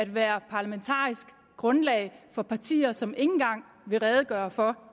være parlamentarisk grundlag for partier som ikke engang vil redegøre for